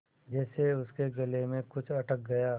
जैसे उसके गले में कुछ अटक गया